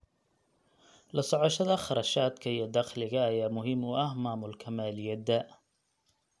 La socoshada kharashaadka iyo dakhliga ayaa muhiim u ah maamulka maaliyadda.